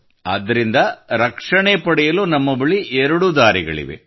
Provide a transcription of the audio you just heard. ಅದರಿಂದ ಪಾರಾಗಲು ನಮ್ಮ ಬಳಿ 2 ದಾರಿಗಳಿವೆ